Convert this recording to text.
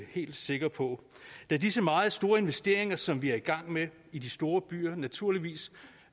helt sikker på da disse meget store investeringer som vi er i gang med i de store byer naturligvis